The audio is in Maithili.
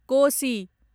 कोसी